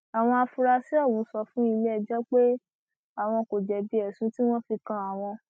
àwọn afurasí ọhún sọ fún iléẹjọ pé àwọn kò jẹbi ẹsùn tí wọn fi kan àwọn